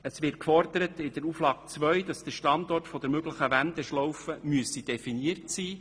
In der zweiten Auflage wird gefordert, dass der Standort der Wendeschlaufe definiert sein müsste.